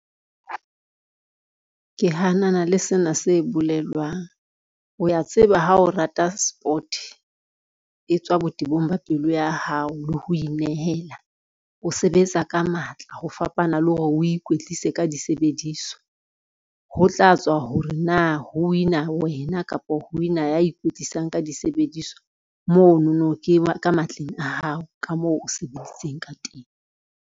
Ke hanana le sena se bolelwang. O ya tseba ha o rata sport e tswa botebong ba pelo ya hao le ho inehela, o sebetsa ka matla ho fapana nna le hore o ikwetlise ka disebediswa. Ho tla tswa hore na ho win-a wena kapa ho win-a ya ikwetlisang ka disebediswa monono ka matleng a hao ka moo o sebeditseng ka teng.